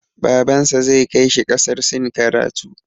Babansa zai kai shi ƙasar Sin karatu.